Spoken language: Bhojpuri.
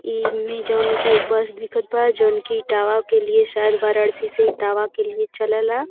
ईमें जौन कि एक बस दिखत बा जौन की इटावा के लिए शायद वाराणसी से इटावा के लिए चले ला।